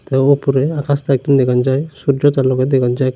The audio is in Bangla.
এও ওপরে আকাশটা একটু দেখন যায় সূর্য চাঁনদকে দেখন যায়।